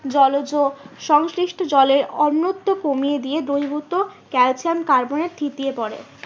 জলযো সংশিলিষ্ট জলের অনত্ম কমিয়ে দিয়ে দ্রুবিভূত ক্যালসিয়াম কার্বনের থিতিয়ে পরে।